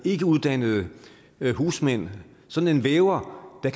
ikkeuddannede husmand sådan en væver der